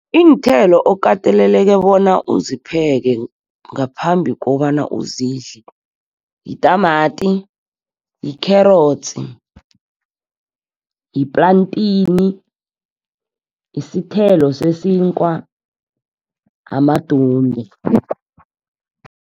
Iinthelo okateleleke bona uzipheke ngaphambi kobana uzidle yitamati, yikherotsi, yiplantini, yisithelo sesinkwa, amadombi.